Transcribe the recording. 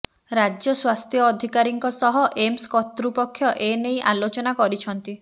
ରାଜ୍ୟ ସ୍ୱାସ୍ଥ୍ୟ ଅଧିକାରୀଙ୍କ ସହ ଏମସ କର୍ତୃପକ୍ଷ ଏନେଇ ଆଲୋଚନା କରିଛନ୍ତି